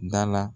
Da la